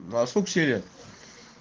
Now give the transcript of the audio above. мм а сколько серия